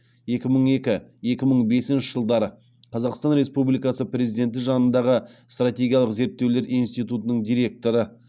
екі мың екі екі мың бесінші жылдары қазақстан республикасы президенті жанындағы стратегиялық зерттеулер институтының директоры